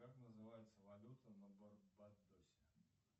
как называется валюта на барбадосе